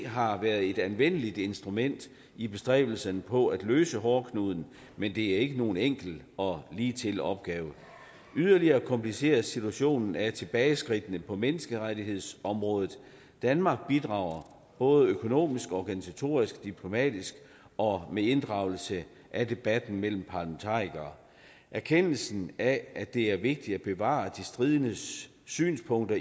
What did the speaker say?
har været et anvendeligt instrument i bestræbelsen på at løse hårdknuden men det er ikke nogen enkel og ligetil opgave yderligere kompliceres situationen af tilbageskridtene på menneskerettighedsområdet danmark bidrager både økonomisk organisatorisk diplomatisk og med inddragelse af debatten mellem parlamentarikere erkendelsen af at det er vigtigt at bevare de stridendes synspunkter